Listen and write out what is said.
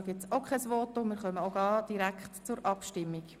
Wir kommen zur Abstimmung.